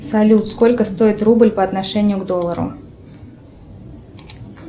салют сколько стоит рубль по отношению к доллару